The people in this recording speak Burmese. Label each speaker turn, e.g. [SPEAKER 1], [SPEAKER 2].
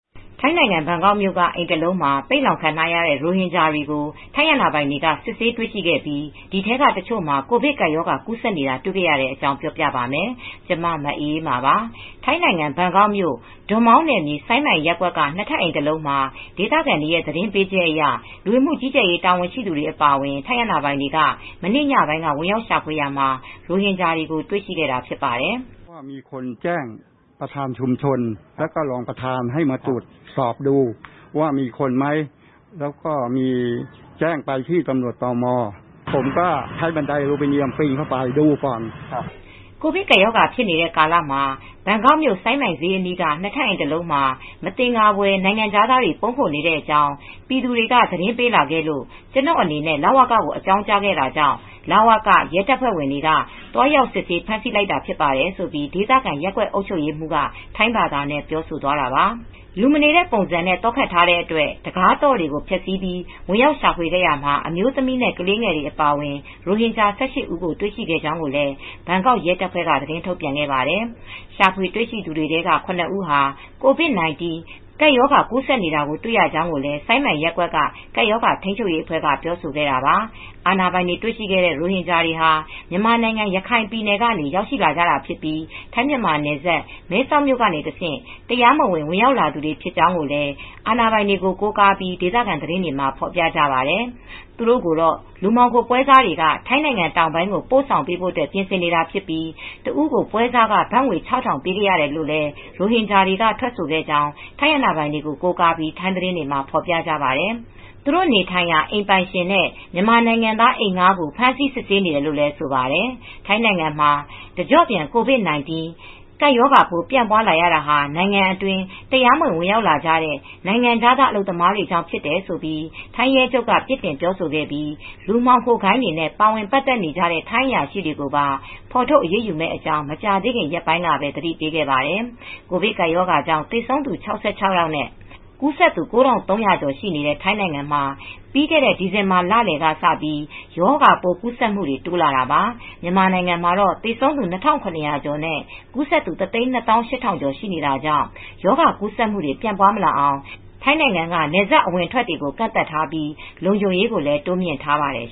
[SPEAKER 1] ထိုင်းနိုင်ငံ ဘန်ကောက်မြို့က အိမ်တစ်လုံးမှာ ပိတ်လှောင်ခံထားရတဲ့ ရိုဟင်ဂျာတွေကို ထိုင်းအာဏာပိုင်တွေ စစ်ဆေးတွေ့ရှိခဲ့ပြီး ဒီအထဲက တချို့မှာ ကိုဗစ်ကပ်ရောဂါ ကူးစက်နေတာ တွေ့ခဲ့ရတဲ့အကြောင်း ပြောပြပါမယ်။ ဗွီအိုအေမြန်မာပိုင်း သတင်းထောက် မအေးအေးမာက သတင်းပေးထားပါတယ်။ ထိုင်းနိုင်ငံ ဘန်ကောက်မြို့ ဒွန်မောင်းနယ်မြေ စိုင်းမိုင်ရပ်ကွက်က ၂ ထပ်အိမ် တလုံးမှာ ဒေသခံတွေရဲ့ သတင်းပေးချက်အရ လူဝင်မှုကြီးကြပ်ရေး တာဝန်ရှိသူတွေ အပါအဝင် ထိုင်းအာဏာပိုင်တွေ မနေ့ညပိုင်းက ဝင်ရောက်ရှာဖွေရာမှာ ရိုဟင်ဂျာတွေကို တွေ့ရှိခဲ့တာ ဖြစ်ပါတယ်
[SPEAKER 2] ။ "ကိုဗစ်ကပ်ရ
[SPEAKER 1] ောဂါဖြစ်နေတဲ့ကာလမှာ ဘန်ကောက်မြို့ စိုင်းမိုင် ဈေးအနီးက နှစ်ထပ်အိမ်တစ်လုံးမှာ မသင်္ကာဖွယ် နိုင်ငံခြားသားတွေ ပုန်းခိုနေတဲ့အကြောင်း ပြည်သူတွေကသတင်းပေးလာခဲ့လို့ကျနော်အနေနဲ့ လဝကကိုအကြောင်းကြားခဲ့တာကြောင့် လဝက ရဲတပ်ဖွဲ့ တွေက သွားရောက်စစ်ဆေး ဖမ်းဆီးလိုက်တာဖြစ်ပါတယ်။" ဆိုပြီး ဒေသခံရပ်ကွက်အုပ်ချုပ်ရေးမှူးက ထိုင်းဘာသာနဲ့ ပြောသွားတာပါ။ လူမနေတဲ့ ပုံစံနဲ့ သော့ခပ်ထားတဲ့အတွက် တခါးသော့တွေကို ဖျက်ဆီးပြီး ဝင်ရောက်ရှာဖွေခဲ့ရာမှာ အမျိုးသမီးနဲ့ ခလေးငယ်တွေ အပါအဝင် ရိုဟင်ဂျာ ၁၈ ဦးကို တွေ့ရှိခဲ့ကြောင်းလည်း ဘန်ကောက် ရဲတပ်ဖွဲ့က သတင်းထုတ်ပြန်ခဲ့ပါတယ်။ ရှာဖွေတွေ့ရှိသူတွေထဲက ၇ ဦးဟာ ကိုဗစ်-၁၉ ရောဂါ ကူးစက်နေတာတွေ့ရကြောင်းလည်း စိုင်းမိုင်ရပ်ကွက်က ကပ်ရောဂါထိမ်းချုပ်ရေးအဖွဲ့က ပြောဆိုခဲ့တာပါ။ အာဏာပိုင်တွေ တွေ့ရှိခဲ့တဲ့ ရိုဟင်ဂျာတွေဟာ မြန်မာနိုင်ငံ ရခိုင်ပြည်နယ်ကနေ ရောက်လာကြတာဖြစ်ပြီး ထိုင်းမြန်မာနယ်စပ် မဲဆောက်မြို့ကနေ တဆင့် တရားမဝင် ဝင်ရောက်လာသူတွေ ဖြစ်ကြောင်းလည်း အာဏာပိုင်တွေကို ကိုးကားပြီး ဒေသခံသတင်းတွေက ဖော်ပြကြပါတယ်။ သူတို့ကိုတော့ လူမှောင်ခို ပွဲစားတွေက ထိုင်းနိုင်ငံတောင်ပိုင်းကို ပို့ဆောင်ဖို့ ပြင်ဆင်နေတာဖြစ်ပြီး တစ်ဦးကို ပွဲစားခ ဘတ်ငွေ ၆,၀၀၀ ပေးခဲ့ရတယ်လို့လည်း ရိုဟင်ဂျာတွေက ထွက်ဆိုခဲ့ကြောင်း ထိုင်းအာဏာပိုင်တွေကို ကိုးကားပြီး ထိုင်းသတင်းတွေမှာ ဖော်ပြကြပါတယ်။ သူတို့နေထိုင်ရာ အိမ်ပိုင်ရှင်နဲ့ မြန်မာနိုင်ငံသား အိမ်ဌားကို ဖမ်းဆီး စစ်ဆေးနေတယ်လို့လည်း ဆိုပါတယ်။ ထိုင်းနိုင်ငံမှာ တကျော့ပြန် ကိုဗစ်-၁၉ ရောဂါပိုး ပြန့်ပွားလာရတာဟာ နိုင်ငံအတွင်း တရားမဝင် ဝင်ရောက်လာကြတဲ့ နိုင်ငံခြားသား အလုပ်သမားတွေကြောင့် ဖြစ်တယ်လို့ ထိုင်းရဲချုပ်က ပြစ်တင် ပြောဆိုခဲ့ပြီး လူမှောင်ခိုးဂိုဏ်းတွေနဲ့ ပတ်သက်ကူညီအားပေးနေကြတဲ့ ထိုင်းအရာရှိတွေကိုပါ ဖေါ်ထုတ်ရေးယူမယ့်အကြောင်း မကြာသေးခင်ရက်ပိုင်းအတွင်းက သတိပေးခဲ့ပါတယ်။ ကိုဗစ်ကပ်ရောဂါကြောင့် သေဆုံးသူ ၆၆ နဲ့ ကူးစက်သူ ၉,၃၀၀ ကျော်ရှိတဲ့ ထိုင်းနိုင်ငံမှာ ပြီးခဲ့တဲ့ ဒီဇင်ဘာလလည်က စပြီး ရောဂါပိုးကူးစက်မှုတွေ တိုးလာတာပါ။ မြန်မာနိုင်ငံမှာတော့ သေဆုံးသူ ၂,၇၀၀ ကျော်နဲ့ ကူးစက်သူ ၁၂၈,၀၀၀ ကျော် ရှိနေတာကြောင့် ရောဂါကူးစက်မှုတွေ ပြန့်ပွားမလာအောင် ထိုင်းနိုင်ငံက နယ်စပ်ဒေသ အဝင်အထွက်တွေကို ကန့်သတ်ထားပြီး လုံခြုံရေးကိုလည်း တိုးမြှင့်ထားပါတယ်